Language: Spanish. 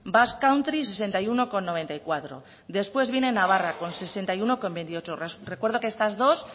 basque country sesenta y uno coma noventa y cuatro después viene navarra con sesenta y uno coma veintiocho recuerdo que estas dos